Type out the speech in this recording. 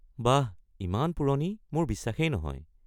বাহ; ইমান পুৰণি মোৰ বিশ্বাসেই নহয়।